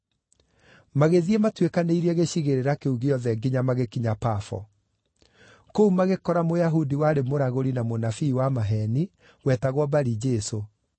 Magĩthiĩ matuĩkanĩirie gĩcigĩrĩra kĩu gĩothe nginya magĩkinya Pafo. Kũu magĩkora Mũyahudi warĩ mũragũri na mũnabii wa maheeni wetagwo Bari-Jesũ,